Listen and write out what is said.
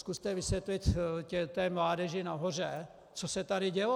Zkuste vysvětlit té mládeži nahoře, co se tady dělo.